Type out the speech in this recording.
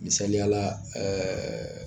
Misaliya la ɛɛ